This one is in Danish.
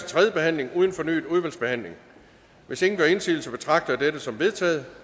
tredje behandling uden fornyet udvalgsbehandling hvis ingen gør indsigelse betragter jeg dette som vedtaget